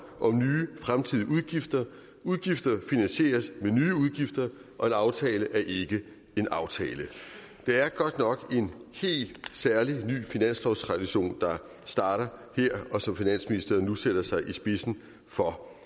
om nye fremtidige udgifter udgifter finansieres ved nye udgifter og en aftale er ikke en aftale det er godt nok en helt særlig ny finanslovstradition der starter her og som finansministeren nu sætter sig i spidsen for